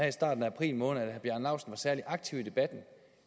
i starten af april måned var særlig aktiv i debatten